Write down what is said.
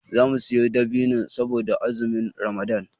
Zamu siyo dabino saboda azumin ramadan